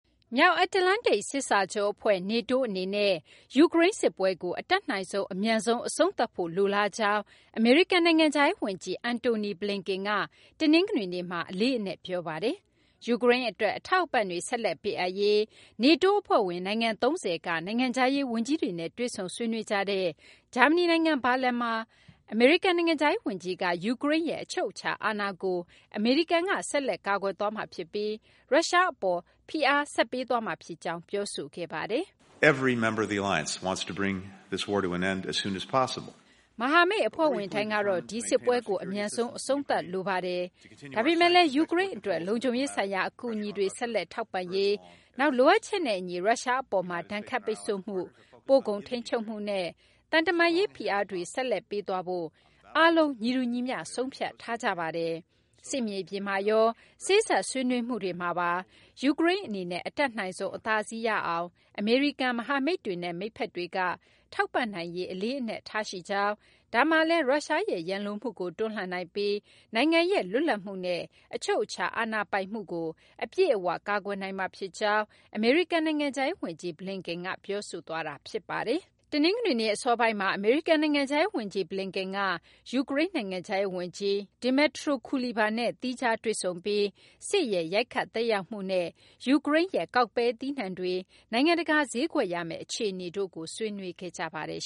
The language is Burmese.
မြောက်အတ္တလန္တိတ် စစ်စာချုပ်အဖွဲ့ (NATO) အနေနဲ့ ယူကရိန်းစစ်ပွဲကို အတတ်နိုင်ဆုံး အမြန်ဆုံး အဆုံးသတ်ဖို့ လိုလားကြောင်း အမေရိကန် နိုင်ငံခြားရေးဝန်ကြီး Antony Blinken က တနင်္ဂနွေနေ့မှာ အလေးအနက် ပြောဆိုပါတယ်။ ယူကရိန်းအတွက် အထောက်အပံ့တွေ ဆက်လက်ပေးအပ်ရေး NATO အဖွဲ့ဝင် နိုင်ငံ ၃၀ က နိုင်ငံခြားရေးဝန်ကြီးတွေနဲ့ တွေ့ဆုံဆွေးနွေးကြတဲ့ ဂျာမနီနိုင်ငံ ဘာလင်မှာ အမေရိကန် နိုင်ငံခြားရေးဝန်ကြီးက ယူကရိန်းရဲ့ အချုပ်အခြာအာဏာကို အမေရိကန်က ဆက်လက်ကာကွယ်သွားမှာဖြစ်ပြီး ရုရှားအပေါ် ဖိအားတွေ ဆက်ပေးသွားမှာ ဖြစ်ကြောင်း ပြောဆိုခဲ့တာပါ။ “မဟာမိတ်အဖွဲ့ဝင်တိုင်းကတော့ ဒီစစ်ပွဲကို အမြန်ဆုံး အဆုံးသတ်လိုပါတယ်။ ဒါပေမဲ့လည်း ယူကရိန်းအတွက် လုံခြုံရေးဆိုင်ရာ အကူအညီတွေ ဆက်လက်ထောက်ပံ့ရေး၊ နောက် လိုအပ်ချက်နဲ့အညီ ရုရှားအပေါ်မှာ ဒဏ်ခတ်ပိတ်ဆို့မှု၊ ပို့ကုန်ထိန်းချုပ်မှုနဲ့ သံတမန်ရေး ဖိအားတွေကိုလည်း ဆက်လက်ပေးသွားဖို့ ကျနော်တို့အားလုံး ညီတူညီမျှ ဆုံးဖြတ်ထားကြပါတယ်။ စစ်မြေပြင်မှာရော စေ့စပ်ဆွေးနွေးမှုတွေမှာပါ ယူကရိန်းအနေနဲ့ အတတ်နိုင်ဆုံး အသာစီးရအောင် အမေရိကန်၊ မဟာမိတ်တွေနဲ့ မိတ်ဘက်တွေက ထောက်ပံ့နိုင်ရေး အလေးအနက်ထားရှိကြောင်း၊ ဒါမှလည်း ရုရှားရဲ့ ရန်လိုမှုကို တွန်းလှန်နိုင်ပြီး နိုင်ငံရဲ့ လွတ်လပ်မှုနဲ့ အချုပ်အခြာ အာဏာပိုင်မှုကို အပြည့်အဝ ကာကွယ်နိုင်မှာဖြစ်ကြောင်း” အမေရိကန် နိုင်ငံခြားရေးဝန်ကြီး Blinken က ပြောဆိုခဲ့တာပါ။ တနင်္ဂနွေနေ့ အစောပိုင်းမှာ အမေရိကန် နိုင်ငံခြားရေးဝန်ကြီး Blinken က ယူကရိန်း နိုင်ငံခြားရေးဝန်ကြီး Dmytro Kuleba နဲ့ သီးခြားတွေ့ဆုံပြီး စစ်ရဲ့ ရိုက်ခတ် သက်ရောက်မှုနဲ့ ယူကရိန်းရဲ့ ကောက်ပဲသီးနှံတွေ နိုင်ငံတကာ ဈေးကွက်ရမယ့် အခြေအနေတို့ကိုလည်း ဆွေးနွေးခဲ့ကြပါတယ်